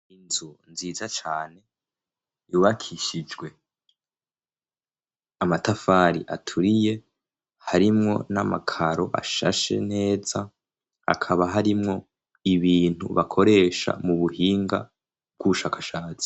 Inzu nziza cane yubakishijwe amatafari aturiye, harimwo n'amakaro ashashe neza. Hakaba harimwo ibintu bakoresha mu buhinga bw'ubushakashatsi.